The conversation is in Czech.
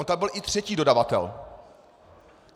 On tam byl i třetí dodavatel.